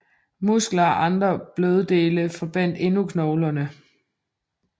Muskler og andre bløddele forbandt endnu knoglerne